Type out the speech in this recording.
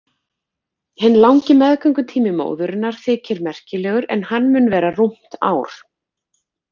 Hinn langi meðgöngutími móðurinnar þykir merkilegur en hann mun vera rúmt ár.